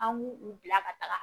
An b'u u bila ka taa